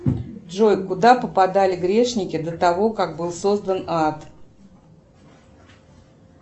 джой куда попадали грешники до того как был создан ад